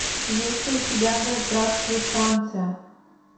есть ли у тебя да здравствует франция